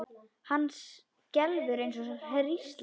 Hann skelfur eins og hrísla.